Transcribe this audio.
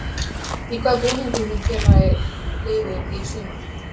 Í hvaða búningum mun félagið liðið í sumar?